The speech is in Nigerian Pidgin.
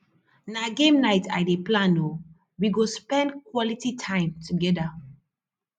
na game night i dey plan o we go spend quality time together